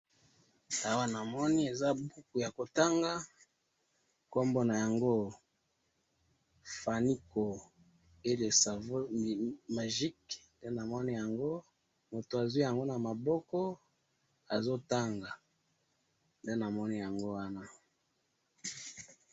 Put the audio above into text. Awa namoni eza buku yakotanga, kombo nayango Fanico et le savon magique, nde namoni yango, mutu azwi yango namaboko, azotanga, nde namoni yango wana.